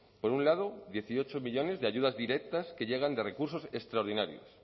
por un lado dieciocho millónes de ayudas directas que llegan de recursos extraordinarios